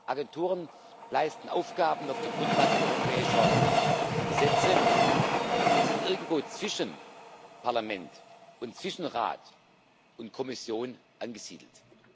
Agenturen leisten Aufgaben auf der Grundlage europäischer Gesetze und sind irgendwo zwischen Parlament, Rat und Kommission angesiedelt.